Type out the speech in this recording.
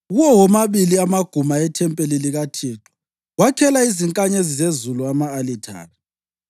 Kuwo womabili amaguma ethempeli likaThixo, wakhela izinkanyezi zezulu ama-alithare.